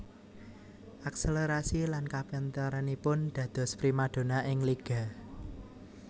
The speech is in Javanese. Akselerasi lan kapinteranipun dados primadona ing liga